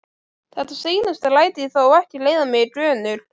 Þetta seinasta læt ég þó ekki leiða mig í gönur.